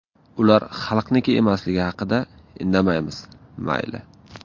Ular xalqniki emasligi haqida indamaymiz, mayli.